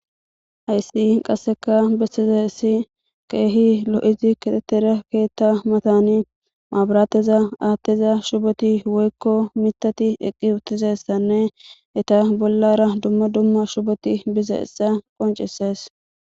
Haysi qasseka bessizayssi keehi lo'izi keexetida keetta matani maaburatteza aattiza shuboti woykko mitati eqqi utidaysanne eta bollara dumma dumma shuboti bizayssa qoncisees.